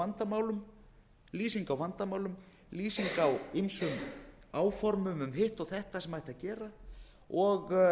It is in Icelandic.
febrúar lýsing á vandamálum lýsing á ýmsum áformum um hitt og þetta sem ætti að gera og